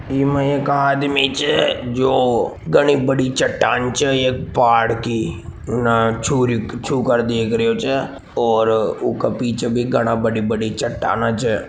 एमा एक आदमी छे जो घनी बड़ी चट्टान चे एक पहाड़ की छूकर देख रीयों छे और उके पीछे बी घनी बड़ी बड़ी चट्टान छे।